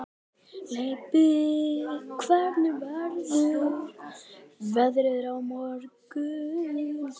Leibbi, hvernig verður veðrið á morgun?